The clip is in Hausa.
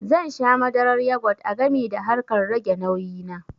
Zan sha madarar yogut a gami da harkar rage nauyi na